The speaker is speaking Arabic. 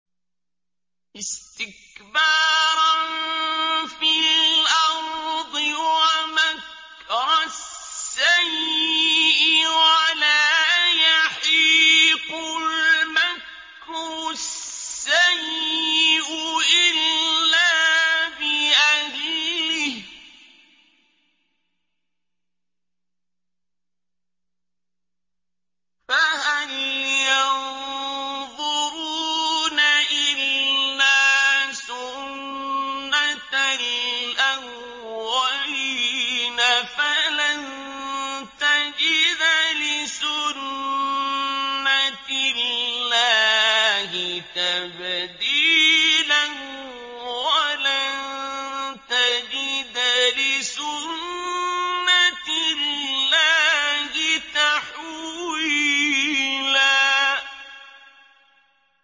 اسْتِكْبَارًا فِي الْأَرْضِ وَمَكْرَ السَّيِّئِ ۚ وَلَا يَحِيقُ الْمَكْرُ السَّيِّئُ إِلَّا بِأَهْلِهِ ۚ فَهَلْ يَنظُرُونَ إِلَّا سُنَّتَ الْأَوَّلِينَ ۚ فَلَن تَجِدَ لِسُنَّتِ اللَّهِ تَبْدِيلًا ۖ وَلَن تَجِدَ لِسُنَّتِ اللَّهِ تَحْوِيلًا